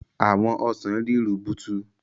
Àwọn ọsàn rí rubutu.